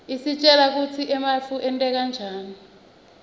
isitjela kutsi emafu enteka njani